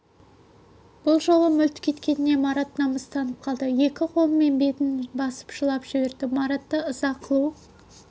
бұл жолы мүлт кеткеніне марат намыстанып қалды екі қолымен бетін басып жылап жіберді маратты ыза қылу